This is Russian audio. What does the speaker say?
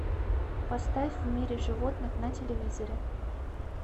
поставь в мире животных на телевизоре